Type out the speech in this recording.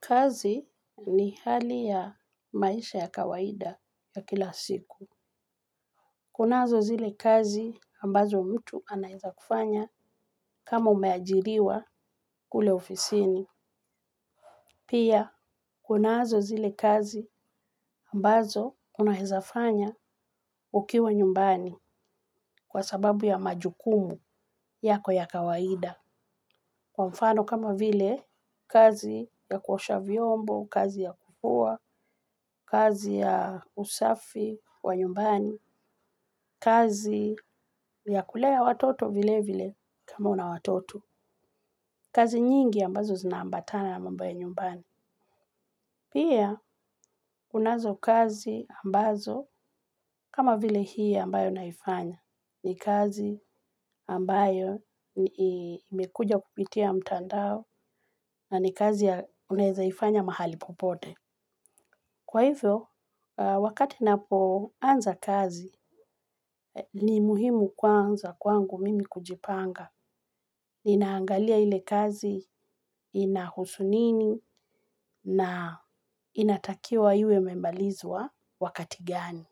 Kazi ni hali ya maisha ya kawaida ya kila siku. Kunazo zile kazi ambazo mtu anaeza kufanya kama umeajiriwa kule ofisini. Pia, kunazo zile kazi ambazo unaeza fanya ukiwa nyumbani kwa sababu ya majukumu yako ya kawaida. Kwa mfano kama vile kazi ya kuosha vyombo, kazi ya kufua, kazi ya usafi wa nyumbani, kazi ya kulea watoto vile vile kama una watoto. Kazi nyingi ambazo zinaambatana na mambo ya nyumbani. Pia kunazo kazi ambazo kama vile hii ambayo naifanya. Ni kazi ambayo imekuja kupitia mtandao na ni kazi ya unaezaifanya mahali popote. Kwa hivyo, wakati napo anza kazi, ni muhimu kwanza kwangu mimi kujipanga. Ninaangalia ile kazi inahusunini na inataki wa iwe imemalizwa wakati gani.